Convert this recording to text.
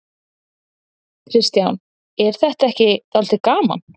Kristján: En er þetta ekki dálítið gaman?